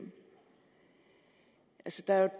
skal have